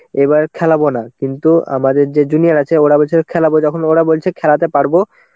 এবার খেলাবো না. কিন্তু আমাদের যে junior আছে ওরা বলছে খেলাবো, যখন ওরা বলছে খেলাতে পারবো